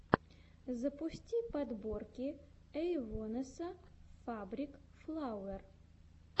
запусти подборки эйвонесса фабрик флауэр